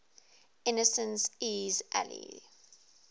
innocent iii's ally